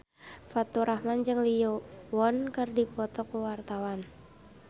Faturrahman jeung Lee Yo Won keur dipoto ku wartawan